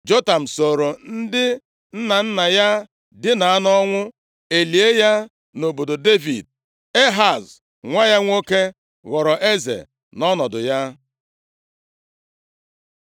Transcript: Jotam sooro ndị nna nna ya dina nʼọnwụ, e lie ya nʼobodo Devid. Ehaz nwa ya nwoke ghọrọ eze nʼọnọdụ ya.